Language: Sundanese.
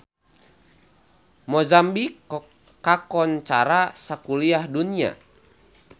Mozambik kakoncara sakuliah dunya